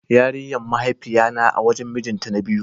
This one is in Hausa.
Yarinyan mahaifiya na a wajen mijin ta na biyu.